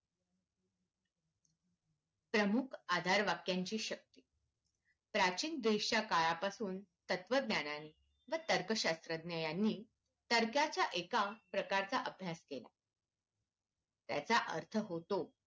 प्रमुख आधार वख्यांची शक्ती प्राचीन देशाच्या काळापासून तत्त्वज्ञानाने व तर्क शास्त्रज्ञानी तार्क्क्याच्या एका प्रकारचा अभ्यास केला त्यांचा अर्थ होतो